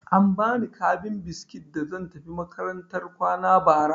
An ba ni kabin biskit da zan tafi makarantar kwana bara.